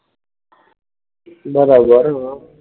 બરાબર